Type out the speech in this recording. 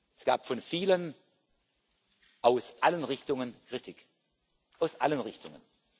Es gab von vielen aus allen Richtungen Kritik aus allen Richtungen.